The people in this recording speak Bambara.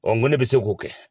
n ko ne bɛ se k'o kɛ.